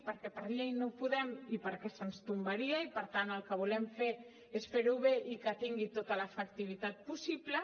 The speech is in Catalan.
perquè per llei no ho podem i perquè se’ns tombaria i per tant el que volem fer és fer ho bé i que tingui tota l’efectivitat possible